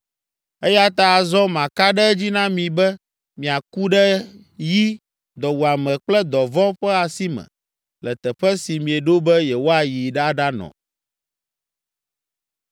Eya ta azɔ maka ɖe edzi na mi be miaku ɖe yi, dɔwuame kple dɔvɔ̃ ƒe asi me, le teƒe si mieɖo be yewoayi aɖanɔ.”